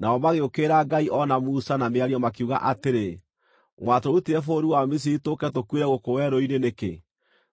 nao magĩũkĩrĩra Ngai o na Musa na mĩario makiuga atĩrĩ, “Mwatũrutire bũrũri wa Misiri tũũke tũkuĩre gũkũ werũ-inĩ nĩkĩ?